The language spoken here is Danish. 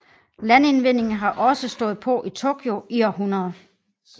Landindvinding har også stået på i Tokyo i århundreder